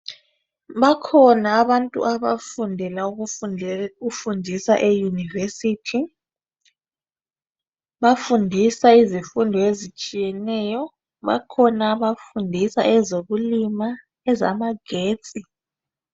Bakhona abantu abafundela ukufundisa eyunivesithi, bafundisa izifundi ezitshiyeneyo. Bakhona abafundisa ezokulima, ezamagetsi.